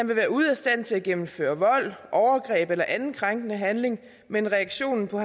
vil være ude af stand til at gennemføre vold overgreb eller anden krænkende handling men reaktionen på